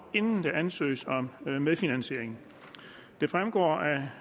inden der ansøges om medfinansiering det fremgår af